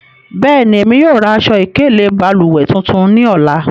Bẹẹni, emi yóò ra aṣọ-ikele balùwẹ tuntun ni ọla.